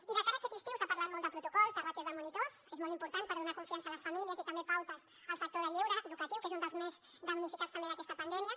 i de cara a aquest estiu s’ha parlat molt de protocols de ràtios de monitors és molt important per donar confiança a les famílies i també de pautes al sector del lleure educatiu que és un dels més damnificats també d’aquesta pandèmia